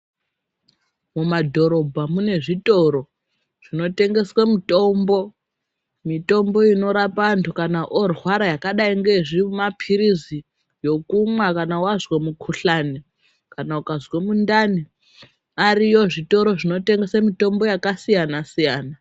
Mumadhorobha mune zvitoro zvinotengeswe mitombo mitombo inorapa antu kana orwara yakadayi ngeyezvimapirizi yekumwa kana wazwe mukuhlana kana ukazwe muntani ariyo zvitoro zvinotengesa mitombo yakasiyana siyana.